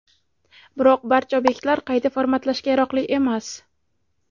Biroq barcha obyektlar qayta formatlashga yaroqli emas.